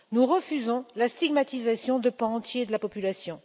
Nous refusons la stigmatisation de pans entiers de la population.